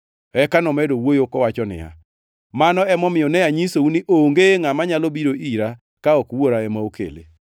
Eka nomedo wuoyo kowacho niya, “Mano emomiyo ne anyisou ni onge ngʼama nyalo biro ira ka ok Wuora ema okele.”